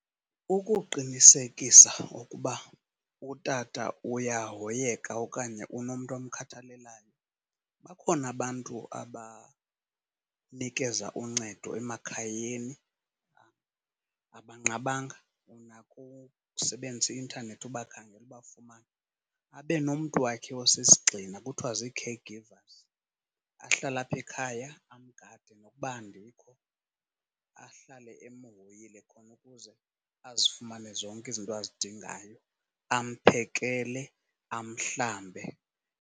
Ukuqinisekisa ukuba utata uyahoyeka okanye unomntu omkhathalelayo bakhona abantu abanikeza uncedo emakhayeni, abanqabanga. Unako ukusebenzisa i-intanethi ubakhangele ubafumane. Abe nomntu wakhe osisigxina kuthiwa zii-caregivers ahlale apha ekhaya amgade nokuba andikho. Ahlale emhoyile khona ukuze azifumane zonke izinto azidingayo, amphekele, amhlambe.